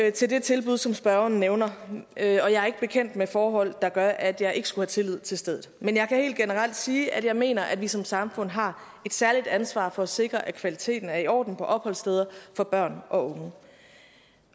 ikke til det tilbud som spørgeren nævner og jeg er ikke bekendt med forhold der gør at jeg ikke skulle have tillid til stedet men jeg kan helt generelt sige at jeg mener at vi som samfund har et særligt ansvar for at sikre at kvaliteten er i orden på opholdssteder for børn og unge